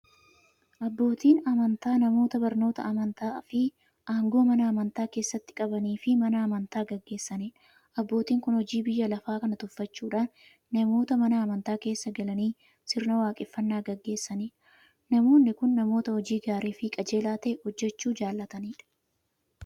Abbootiin amantaa namoota barnoota amantaafi aangoo Mana amantaa keessatti qabaniifi Mana amantaa gaggeessaniidha. Abbootiin kun hojii biyya lafaa kana tuffachuudhan namoota Mana amantaa keessa galanii sirna waaqeffannaa gaggeessaniidha. Namoonni kun, namoota hojii gaariifi qajeelaa ta'e hojjachuu jaalatanidha.